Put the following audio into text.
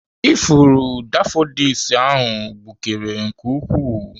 Ifuru daffodils ahụ gbukere nke ukwuu.